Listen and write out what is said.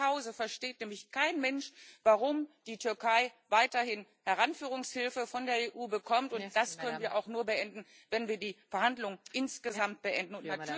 Bei mir zu Hause versteht nämlich kein Mensch, warum die Türkei weiterhin Heranführungshilfe von der EU bekommt, und das können wir auch nur beenden, wenn wir die Verhandlungen insgesamt beenden.